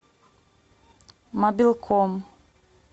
мобилком